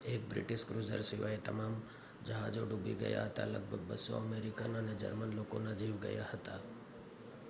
એક British cruiser સિવાય તમામ જહાજો ડૂબી ગયા હતા લગભગ 200 અમેરિકન અને જર્મન લોકોના જીવ ગયા હતા